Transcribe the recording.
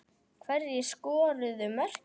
Hverjir skoruðu mörkin?